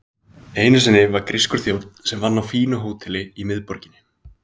Einu sinni var grískur þjónn sem vann á fínu hóteli í miðborginni.